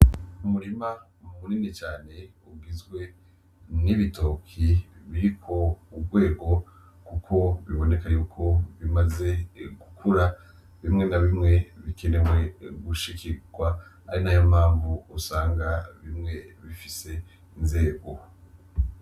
Umurima munini cane ugizwe n'ibitoke biriko urwego kuko biboneka yuko bimaze gukura. Bimwe na bimwe bikenewe gushikirwa, ari nayo mpamvu usanga bimwe bifise inzego.